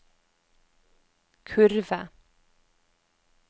kurve